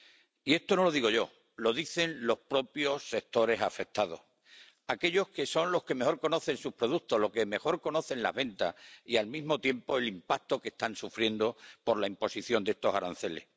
Y esto no lo digo yo, lo dicen los propios sectores afectados, aquellos que son los que mejor conocen sus productos, los que mejor conocen las ventas y, al mismo tiempo, el impacto que están sufriendo por la imposición de estos aranceles.